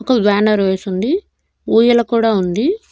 ఒక బ్యానర్ వేసి ఉంది ఉయ్యాల కూడా ఉంది.